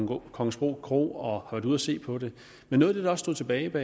på kongensbro kro og har været ude at se på det men noget af det der stod tilbage var